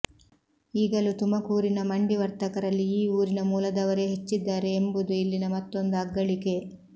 ಈಗಲೂ ತುಮಕೂರಿನ ಮಂಡಿ ವರ್ತಕರಲ್ಲಿ ಈ ಊರಿನ ಮೂಲದವರೇ ಹೆಚ್ಚಿದ್ದಾರೆ ಎಂಬುದು ಇಲ್ಲಿನ ಮತ್ತೊಂದು ಅಗ್ಗಳಿಕೆ